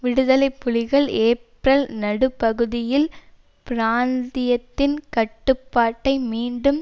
விடுதலை புலிகள் ஏப்ரல் நடுப்பகுதியில் பிராந்தியத்தின் கட்டுப்பாட்டை மீண்டும்